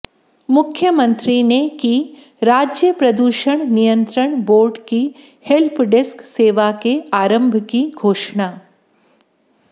मुख्यमंत्री ने की राज्य प्रदूषण नियंत्रण बोर्ड की हेल्प डेस्क सेवा के आरम्भ की घोषणा